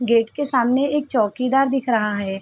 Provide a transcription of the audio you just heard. Gate के सामने एक चौकीदार दिख रहा है।